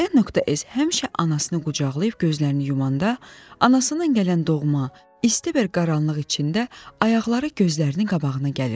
N.S həmişə anasını qucaqlayıb gözlərini yumanda, anasından gələn doğma, isti bir qaranlıq içində ayaqları gözlərinin qabağına gəlirdi.